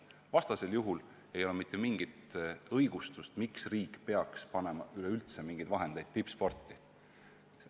Vastasel juhul ei ole vähimatki õigustust, miks riik peaks üleüldse mingeid summasid tippspordiks eraldama.